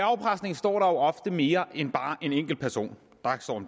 afpresning står der jo ofte mere end bare en enkelt person